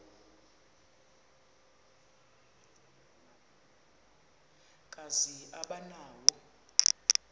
kazi aba nawo